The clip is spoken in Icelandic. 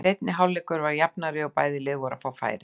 Seinni hálfleikurinn var jafnari og bæði lið voru að fá færi.